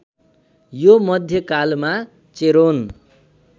यो मध्यकालमा चेरोन